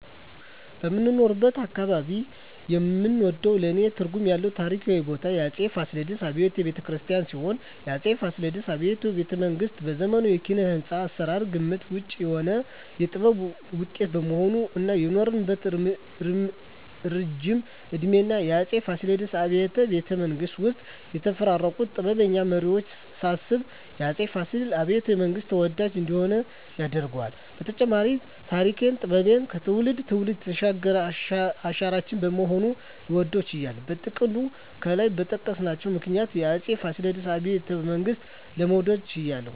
በምኖርበት አካባባቢ የምወደውና ለኔ ትርጉም ያለው ታሪካዊ ቦታ የአፄ ፋሲለደስ አብያተ ቤተመንግስት ሲሆን፣ የአፄ ፋሲለደስ አብያተ ቤተመንግስት በዘመኑ የኪነ-ህንጻ አሰራር ግምት ውጭ የሆነ የጥበብ ውጤት በመሆኑ እና የኖረበት እረጅም እድሜና የአፄ ፋሲለደስ አብያተ ቤተመንግስት ውስጥ የተፈራረቁትን ጥበበኛ መሪወች ሳስብ የአፄ ፋሲለደስ አብያተ- መንግስት ተወዳጅ እንዲሆን ያደርገዋል በተጨማሪም ተሪክና ጥበብን ከትውልድ ትውልድ ያሸጋገረ አሻራችን በመሆኑ ልወደው ችያለሁ። በጥቅሉ ከላይ በጠቀስኳቸው ምክንያቶች የአፄ ፋሲለደስ አብያተ ቤተመንግስትን ለመውደድ ችያለሁ